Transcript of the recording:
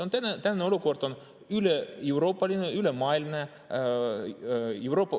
See tänane olukord on üleeuroopaline, ülemaailmne.